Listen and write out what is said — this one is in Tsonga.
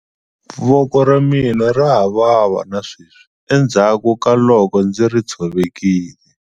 Voko ra mina ra ha vava na sweswi endzhaku ka loko ndzi ri tshovekile.